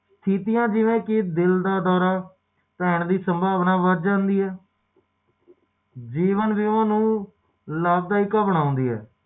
ਪੈਸਿਆਂ ਦੀ ਲੋੜ ਜਿਹੜੀ ਪੈਸੇ ਦੀ ਘਾਟ ਹੈ ਓਹਨੂੰ ਥੋੜਾ